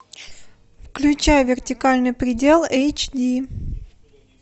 включай вертикальный предел эйч ди